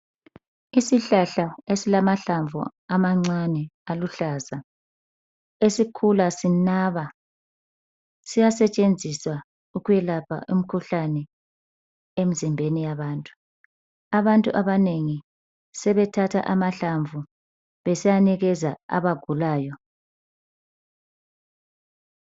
Isihlahla esilamahlamvu amancane aluhlaza. Esikhula sinaba. Siyasetshenziswa ukwelapha, imikhuhlane, emzimbeni yabantu. Abantu abanengi, sebethatha amahlamvu, besiyanikeza abagulayo.